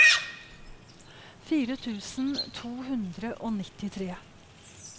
fire tusen to hundre og nittitre